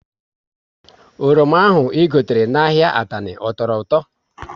Oroma ahụ I gotere n' ahịa Atani, ọ tọrọ ụtọ?